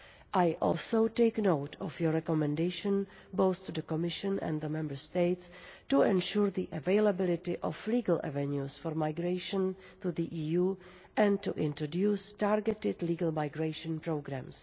I also take note of the recommendation, both to the Commission and the Member States, to ensure the availability of legal avenues for migration to the EU and to introduce targeted legal migration programmes.